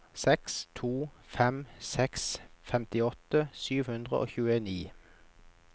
seks to fem seks femtiåtte sju hundre og tjueni